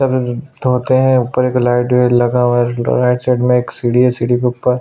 तोते है ऊपर एगो लाइट लगा हुआ है राइट साइड में एगो सीढ़ी है सीढ़ी के ऊपर --